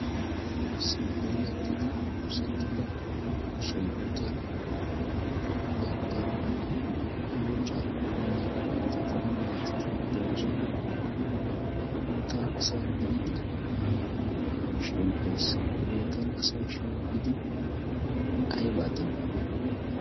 issi puulettidi oosettida sohootan keehin daro lun carkko immiya mittatinna maatiti de'oosona ha bootaa asay biidi shemppees ha bootan asay shemppidi aybaa demmi